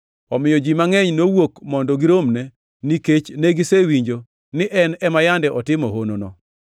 Omiyo ji mangʼeny nowuok mondo giromne, nikech negisewinjo ni en ema yande otimo honono.